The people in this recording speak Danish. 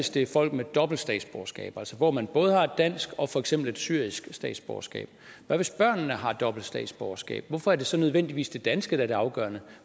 det er folk med dobbelt statsborgerskab hvor man både har et dansk og for eksempel et syrisk statsborgerskab hvad hvis børnene har dobbelt statsborgerskab hvorfor er det så nødvendigvis det danske der er det afgørende